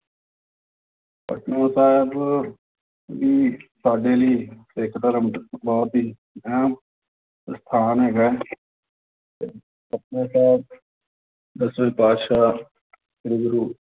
ਪਟਨਾ ਸਾਹਿਬ ਵੀ ਸਾਡੇ ਲਈ ਸਿੱਖ ਧਰਮ ਬਹੁਤ ਹੀ ਅਹਿਮ ਅਸਥਾਨ ਹੈਗਾ ਹੈ ਤੇ ਪਟਨਾ ਸਾਹਿਬ ਦਸਵੇਂ ਪਾਤਿਸ਼ਾਹ ਸ੍ਰੀ ਗੁਰੂ